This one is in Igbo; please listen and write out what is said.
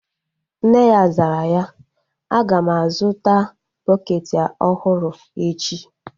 Nne ya zara ya, a ga m a zụta bukeeti ọhụrụ echi